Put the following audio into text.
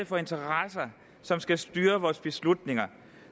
for interesser som skal styre vores beslutninger